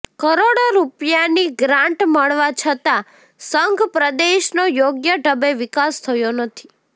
કરોડો રૃપિયાની ગ્રાન્ટ મળવા છતાં સંઘપ્રદેશનો યોગ્ય ઢબે વિકાસ થયો નથી